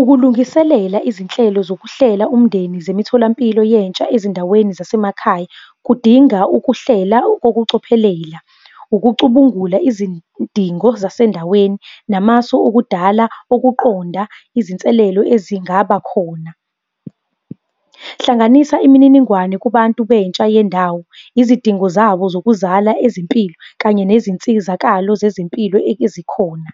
Ukulungiselela izinhlelo zokuhlela umndeni zemitholampilo yentsha ezindaweni zasemakhaya, kudinga ukuhlela kokucophelela, ukucubungula izidingo zasendaweni, namasu okudala ukuqonda izinselelo ezingaba khona. Hlanganisa imininingwane kubantu bentsha yendawo, izidingo zabo zokuzala ezempilo kanye nezinsizakalo zezempilo ezikhona.